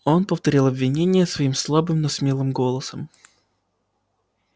он повторил обвинения свои слабым но смелым голосом